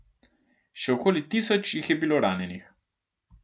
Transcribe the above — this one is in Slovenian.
Še okoli tisoč jih je bilo ranjenih.